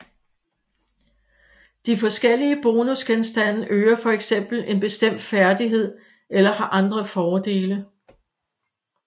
De forkellige bonusgenstande øger for eksempel en bestemt færdighed eller har andre fordele